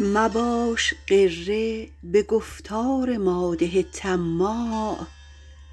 مباش غره به گفتار مادح طماع